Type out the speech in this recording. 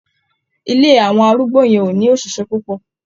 Ilé àwọn arúgbó yẹn ò ní òṣìṣẹ́ púpọ̀.